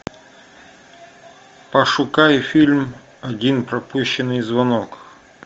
пошукай фильм один пропущенный звонок